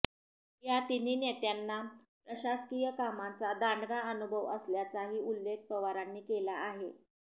या तिन्ही नेत्यांना प्रशासकीय कामांचा दांडगा अनुभव असल्याचाही उल्लेख पवारांनी केला आहे